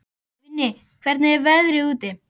Vinni, hvernig er veðrið úti?